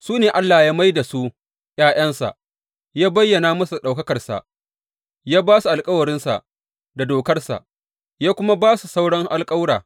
Su ne Allah ya mai da su ’ya’yansa, ya bayyana musu ɗaukakarsa, ya ba su alkawarinsa da Dokarsa, ya nuna musu hanyar sujada ta gaske, ya kuma ba su sauran alkawura.